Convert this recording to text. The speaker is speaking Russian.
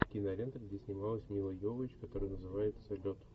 кинолента где снималась мила йовович которая называется лед